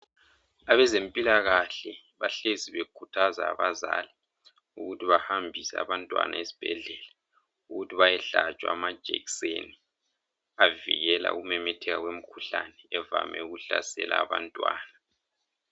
Abezempilakahle bahlezi bekhuthaza abazali ukuthi bahambise abantwana ezibhedlela ukuthi bayehlatshwa amajekiseni avikela ukumemetheka kwemikhuhlane evame ukuhlasela abantwana.